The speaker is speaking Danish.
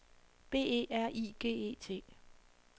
B E R I G E T